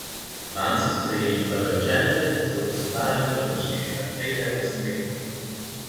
Vanj so sprejeli prve učence, ki so obiskovali prve štiri razrede osemletke.